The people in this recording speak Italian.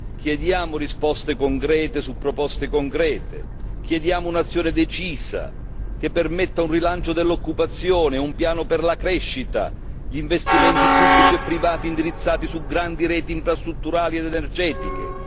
Chiediamo risposte concrete su proposte concrete, chiediamo un'azione decisa, che permetta un rilancio dell'occupazione, un piano per la crescita, gli investimenti pubblici e privati indirizzati su grandi reti infrastrutturali ed energetiche.